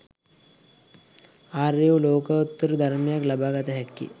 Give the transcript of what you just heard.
ආර්ය වූ ලෝකෝත්තර ධර්මයක් ලබාගත හැක්කේ